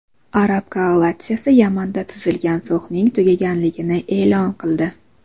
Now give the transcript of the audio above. Arab koalitsiyasi Yamanda tuzilgan sulhning tugaganligini e’lon qildi.